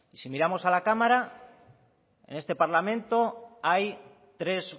si miramos a la cámara en este parlamento hay tres